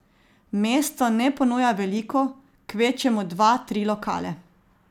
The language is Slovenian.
Mesto ne ponuja veliko, kvečjemu dva, tri lokale.